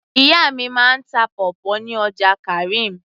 ìyá mi máa ń ta pawpaw ní ọjà karim